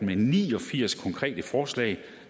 med ni og firs konkrete forslag